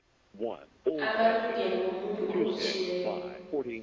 amalungelo womuntu obotjhiweko